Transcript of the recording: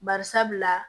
Bari sabula